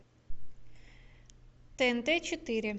тнт четыре